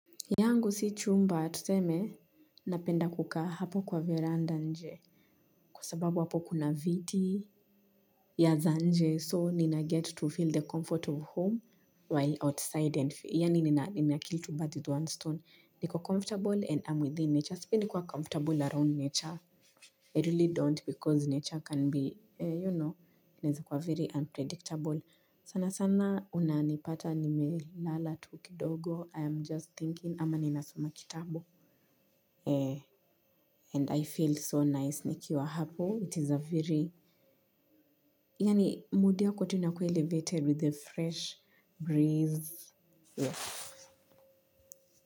Yangu si chumba tuseme napenda kukaa hapo kwa veranda nje. Kwa sababu hapo kuna viti. Ya za nje so nina get to feel the comfort of home. While outside and feel ya nina nina kill to birth with one stone niko comfortable and I'm within nature sibi nikuwa comfortable around nature I really don't because nature can be you know nizi kwa very unpredictable sana sana unanipata nime lala tu kidogo i am just thinking ama ninasoma kitabu eh and i feel so nice nikiwa hapo it is a very yaani mood yako tu inakua elevated with a fresh breeze.